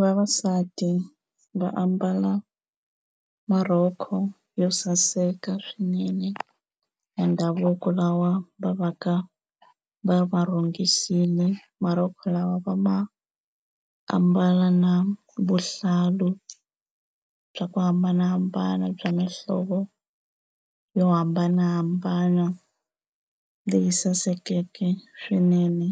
Vavasati va ambala marhoko yo saseka swinene ya ndhavuko lawa va va ka va ya rhungisile. Marhoko lawa va maambala na vuhlalu bya ku hambanahambana bya mihlovo yo hambanahambana leyi sasekeke swinene,